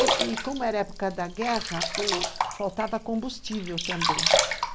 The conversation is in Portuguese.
i-i , como era época da guerra, faltava combustível também.